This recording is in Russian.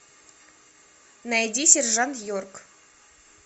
найди сержант йорк